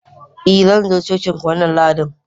i, Zan zo cocinku wannan Lahadin